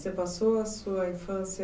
Você passou a sua infância